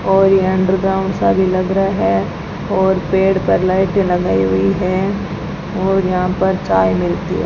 और यह अंडरग्राउंड सा भी लग रहा है और पेड़ पर लाइटें लगाई हुई हैं और यहां पर चाय मिलती है।